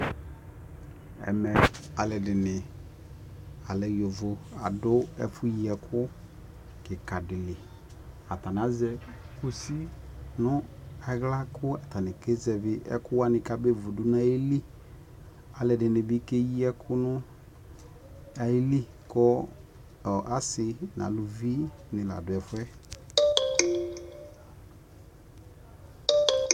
ɛmɛ alʋɛdini, alɛ yɔvɔ, ɛkɛ yii ɛkʋ kikaa dili atani azɛ kɔsi nʋ ala kʋ atani kazɛvi ɛkʋ wani kʋ abɛ vʋ dʋnʋ ayili, alʋɛdini bikɛyi ɛkʋ nʋ ayili kʋ asii nʋ alʋvi ni ladʋ ɛƒʋɛ